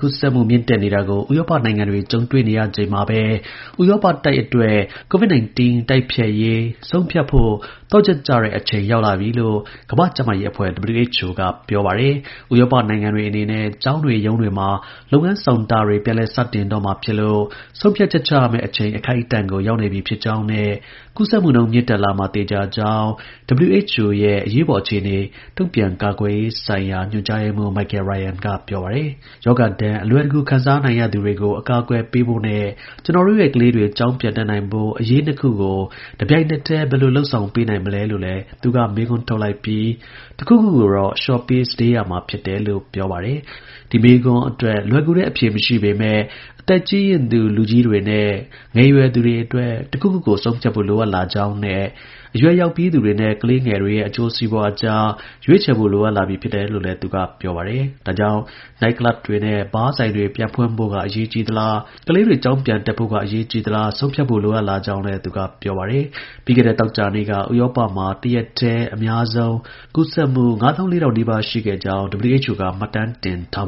ကူးစက်မှု မြင့်တက်နေတာကို ဥရောပနိုင်ငံတွေ ကြုံတွေ့နေရချိန်မှာပဲ ဥရောပတိုက်အတွက် COVID 19 တိုက်ဖျက်ရေး ဆုံးဖြတ်ဖို့ သော့ချက် ကျတဲ့ အချိန် ရောက်လာနေပြီဖို့ ကမ္ဘာ့ ကျန်းမာရေး အဖွဲ့ WHO က ပြောပါတယ်။ ဥရောပ နိုင်ငံတွေ အနေနဲ့ ကျောင်းတွေ ရုံးတွေမှာ လုပ်ငန်း ဆောင်တာတွေ ပြန်လည် စတင်တော့မှာဖြစ်လို့ ဆုံးဖြတ်ချက် ချရမယ့် အချိန် အခိုက်အတန့်ကို ရောက်ရှိနေပြီ ဖြစ်ကြောင်းနဲ့ ကူးစက်မှုနှုန်း မြင့်တက်လာမှာ သေချာကြောင်း WHO ရဲ့ အရေးပေါ်အခြေအနေ တုံ့ပြန် ကိုင်တွယ်ရေးဆိုင်ရာဌာန ညွှန်ကြားရေးမှူး Michael Ryan က ပြောပါတယ်။ ရောဂါဒဏ် အလွယ်တကူ ခံစားနိုင်သူတွေကို အကာအကွယ် ပေးဖို့ နဲ့ ကျွန်တော်တို့ရဲ့ ကလေးတွေ ကျောင်းပြန်နိုင်ဖို့ အရေး နှစ်ခု ကို တစ်ပြိင်နက်တည်း ဘယ်လို လုပ်ဆောင်ပေးနိုင်မလဲလို့လည်း သူက မေးခွန်း ထုတ်လိုက်ပြီး တစ်ခုခုကိုတော့ အလျှော့ပေး စတေးရမှာ ဖြစ်တယ် လို့ ပြောပါတယ်။ ဒီမေးခွန်းအတွက် လွယ်ကူတဲ့ အဖြေ မရှိပေမဲ့ အသက်ကြီးရင့်သူ လူကြီးတွေနဲ့ ငယ်ရွယ်သူတွေ အတွက် တစ်ခုခုကို ဆုံးဖြတ်ဖို့ လိုအပ် လာကြောင်းနဲ့ အရွယ်ရောက်ပြီးသူတွေနဲ့ ကလေးငယ်တွေရဲ့ အကျိုး စီးပွားအတွက် ရွေးချယ်ဖို့ လိုအပ်လာပြီ ဖြစ်တယ်လို့လည်း သူက ပြောပါတယ်။ ဒါကြောင့် နိုက်ကလပ်တွေနဲ့ ဘားဆိုင်တွေ ပြန်ဖွင့်ဖို့က အရေးကြီးသလား ကလေးတွေ ကျောင်းပြန်တက်ဖို့က အရေးကြီးသလား ဆုံးဖြတ်ဖို့ လိုအပ်လာကြောင်းလည်း သူက ပြောပါတယ်။ ပြီးခဲ့တဲ့ သောကြာနေ့က ဥရောပမှာ တစ်ရက်တည်း အများဆုံး ကူးစက်မှု ၅၄,၀၀၀နီးပါးရှိခဲ့ကြောင်း WHO က မှတ်တမ်းတင် ထား